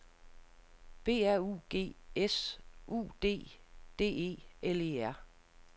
B R U G S U D D E L E R